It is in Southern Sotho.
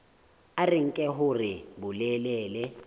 a re nke hore bolelele